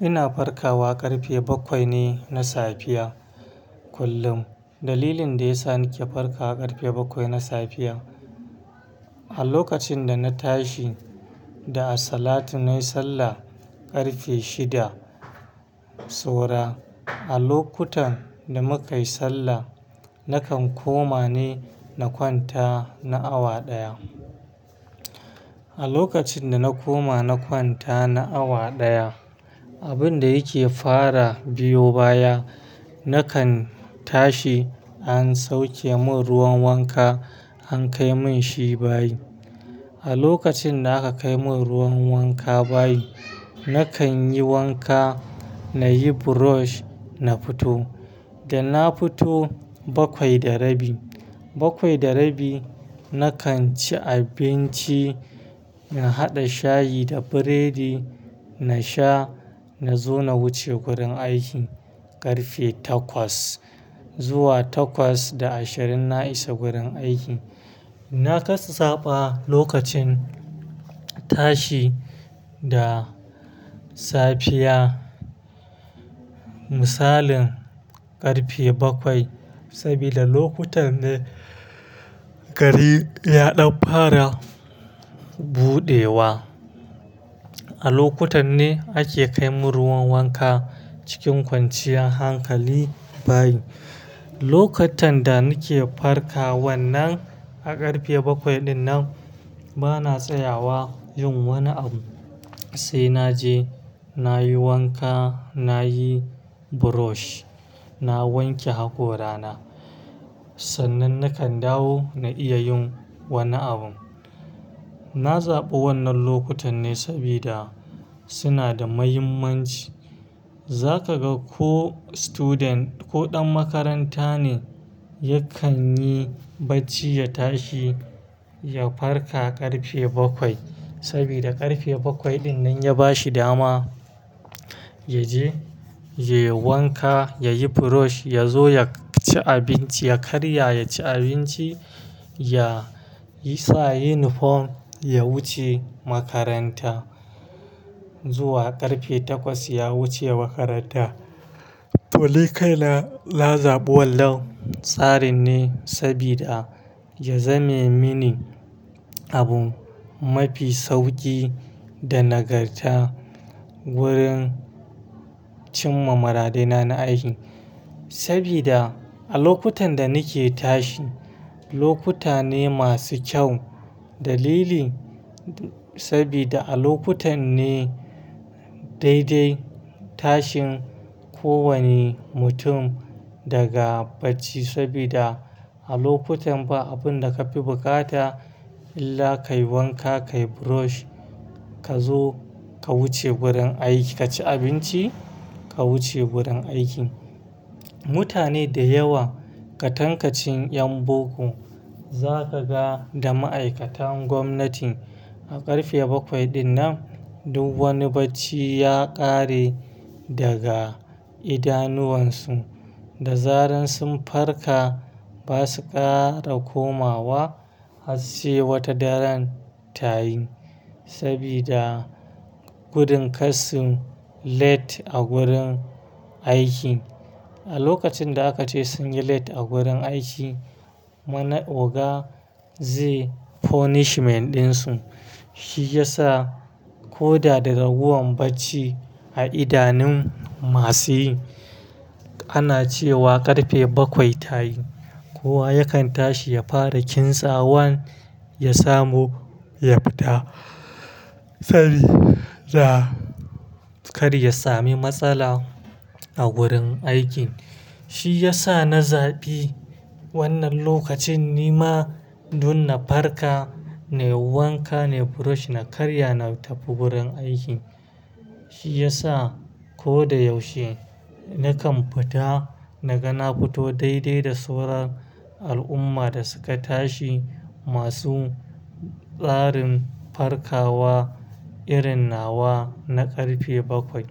Ina farkawa ƙarfe bakwai ne na safiya kullum. Dalilin da ya sa nake farkawa ƙarfe bakwai na safiya, a lokacin da na tashi da a salatu nayi sallah ƙarfe shida so ra. A lokutan da muka yi sallah, nakan koma ne na kwanta na awa ɗaya. A lokacin da na koma nakwanta na awa ɗaya, abin da yake fara biyo baya, nakan tashi an sauke mun ruwan wanka an kai mun shi bayi. A lokacin da aka kai mun ruwan wanka bayi, nakan yi wanka, na yi brush na fito. Da na fito bakwai da rabi. Bakwai da rabi nakan ci abinci, na haɗa shayi da biredi na sha, na zo na wuce gurin aiki ƙarfe takwas. Zuwa takwas da ashirin na isa gurin aiki. Na kasa zaɓa lokacin tashi da safiya misalin ƙarfe bakwai, sabida lokutan ne gari ya ɗan fara buɗewa. A lokutan ne ake kai mun ruwan wanka cikin kwanciyar hankali bayi. Lokatan da nake farka wannan a ƙarfe bakwai dinnan, bana tsayawa yin wani abu sai na je na yi wanka, na yi brush, na wanke hakorana. Sannan nakan dawo na iya yin wani abu. Na zaɓi wannan lokutan ne sabida suna da mahimmanci. Za ka ga ko student ko ɗan makaranta ne, yakan yi bacci ya tashi ya farka ƙarfe bakwai sabida ƙarfe bakwai dinnan ya ba shi dama ya je ya yi wanka, ya yi brush, ya zo ya ci abinci, ya karya ya ci abinci, ya sa yunifom ya wuce makaranta. Zuwa ƙarfe takwas ya wuce makaranta. To likaina na zaɓi wannan tsarin ne sabida ya zame mini abu mafi sauƙi da nagarta wurin cin mamarade na na aiki. Sabida a lokutan da nake tashi, lokuta ne masu kyau. Dalili sabida a lokutan ne daidai tashin kowane mutum daga bacci sabida a lokutan ba abun da ka fi bukata illa ka yi wanka, ka yi brush, ka zo ka wuce wurin aiki, ka ci abinci ka wuce wurin aiki. Mutane da yawa, ka tankaci yan boko, za ka ga da ma'aikatan gwamnati a ƙarfe bakwai dinnan duk wani bacci ya ƙare daga idanuwansu. Da zaran sun farka ba su ƙara komawa har sai wata daren tayin sabida gudun kar su late a wurin aiki. A lokacin da aka ce sun yi late a wurin aiki, mana oga zai punishment ɗinsu. Shi ya sa ko da da ragowar bacci a idanun masu yi, ana cewa ƙarfe bakwai tayi. Kowa yakan tashi ya fara kintsa wan ya samu ya fita sabida kar ya sami matsala a wurin aiki. Shi ya sa na zaɓi wannan lokacin ni ma dun na farka, na yi wanka, na yi brush, na karya na tafi wurin aiki. Shi ya sa ko da yaushe nakan fita na ga na fito daidai da sauran al'umma da suka tashi masu tsarin farkawa irin nawa na ƙarfe bakwai.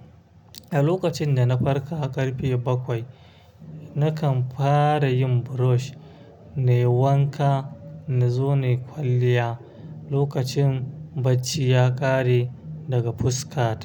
A lokacin da na farka ƙarfe bakwai, nakan fara yin brush, na yi wanka, na zo na yi kwalliya lokacin bacci ya ƙare daga fuska.